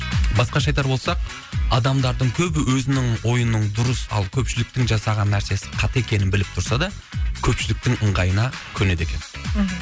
басқаша айтар болсақ адамдардың көбі өзінің ойының дұрыс ал көпшіліктің жасаған нәрсесі қате екенін біліп тұрса да көпшіліктің ыңғайына көнеді екен мхм